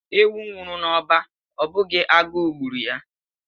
Ewu nwuru n’ọba Ọ bụghị agụụ gburu ya